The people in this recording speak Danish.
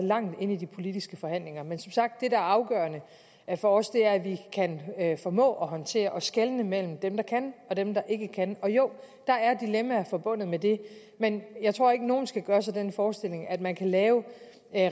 langt inde i de politiske forhandlinger men som sagt er afgørende for os at vi kan formå at håndtere at skelne mellem dem der kan og dem der ikke kan og jo der er dilemmaer forbundet med det men jeg tror ikke at nogen skal gøre sig den forestilling at man kan lave